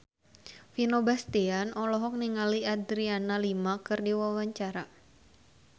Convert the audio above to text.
Vino Bastian olohok ningali Adriana Lima keur diwawancara